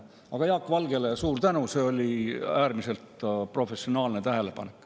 Aga Jaak Valgele suur tänu, see oli äärmiselt professionaalne tähelepanek.